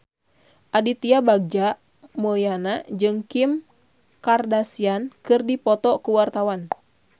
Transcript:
Aditya Bagja Mulyana jeung Kim Kardashian keur dipoto ku wartawan